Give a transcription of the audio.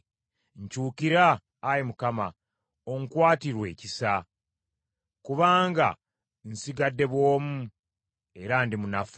Nkyukira, Ayi Mukama , onkwatirwe ekisa, kubanga nsigadde bw’omu, era ndi munafu.